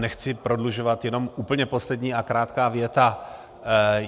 Nechci prodlužovat, jenom úplně poslední a krátká věta.